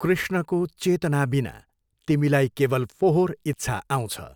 कृष्णको चेतनाबिना तिमीलाई केवल फोहोर इच्छा आउँछ।